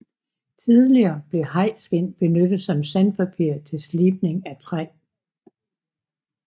Tidligere blev hajskind benyttet som sandpapir til slibning af træ